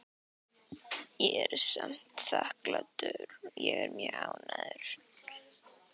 Ég er samt þakklátur og er mjög ánægður.